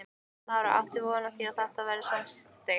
Lára: Áttu von á því að þetta verði samþykkt?